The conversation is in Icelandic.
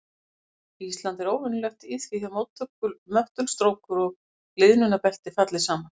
Ísland er óvenjulegt í því að möttulstrókur og gliðnunarbelti falli saman.